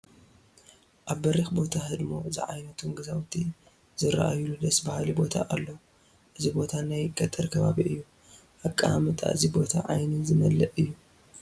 ኣብ በሪኽ ቦታ ሕድሞ ዝዓይነቶም ገዛውቲ ዝርአዩሉ ደስ በሃሊ ቦታ ኣሎ፡፡ እዚ ቦታ ናይ ገጠር ከባቢ እዩ፡፡ ኣቀማምጣ እዚ ቦታ ዓይኒ ዝመልእ እዩ፡፡